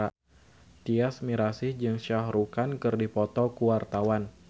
Tyas Mirasih jeung Shah Rukh Khan keur dipoto ku wartawan